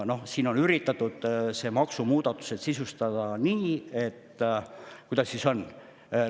No siin on üritatud maksumuudatused sisustada nii – kuidas see ongi?